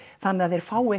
þannig að þeir fái